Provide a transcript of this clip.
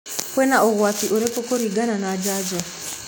Kwĩna ũgwati ũrĩkũkũregana na njanjo?